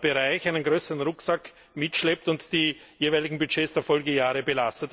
Bereichen einen größeren Rucksack mitschleppt und die jeweiligen Budgets der Folgejahre belastet.